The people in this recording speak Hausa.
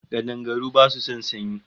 Kadangaru basu son sanyi